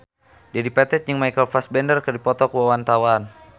Dedi Petet jeung Michael Fassbender keur dipoto ku wartawan